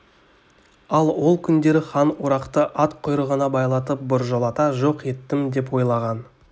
ал ол күндері хан орақты ат құйрығына байлатып біржолата жоқ еттім деп ойлаған